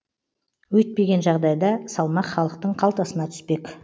өйтпеген жағдайда салмақ халықтың қалтасына түспек